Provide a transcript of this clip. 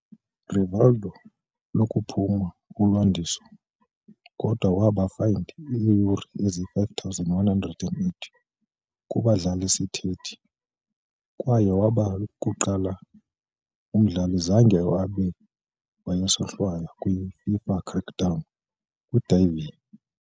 Rivaldo lokuphuma ulwandiso kodwa waba fined ii-Euro eziyi-5,180 kuba dlala-isithethi, kwaye waba lokuqala umdlali zange abe wayesohlwaywa kwi - FIFA's crackdown kwi diving.